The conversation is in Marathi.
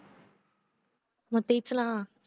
मग तेच ना